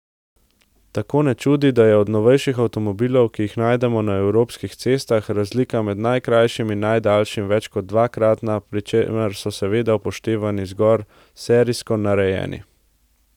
Tako ne čudi, da je od novejših avtomobilov, ki jih najdemo na evropskih cestah, razlika med najkrajšim in najdaljšim več kot dvakratna, pri čemer so seveda upoštevani zgolj serijsko narejeni.